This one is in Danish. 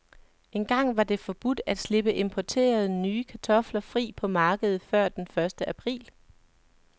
Engang var det forbudt at slippe importerede, nye kartofler fri på markedet før den første april.